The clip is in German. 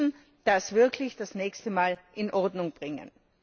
Wir müssen das wirklich das nächste Mal in Ordnung bringen.